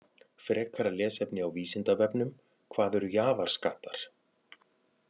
Frekara lesefni á Vísindavefnum: Hvað eru jaðarskattar?